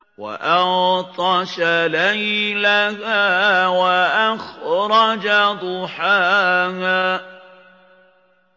وَأَغْطَشَ لَيْلَهَا وَأَخْرَجَ ضُحَاهَا